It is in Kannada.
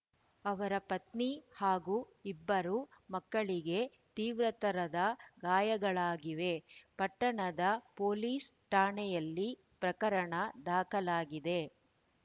ಅವರ ಪತ್ನಿ ಹಾಗು ಇಬ್ಬರು ಮಕ್ಕಳಿಗೆ ತೀವ್ರತರದ ಗಾಯಗಳಾಗಿವೆ ಪಟ್ಟಣದ ಪೊಲೀಸ್‌ ಠಾಣೆಯಲ್ಲಿ ಪ್ರಕರಣ ದಾಖಲಾಗಿದೆ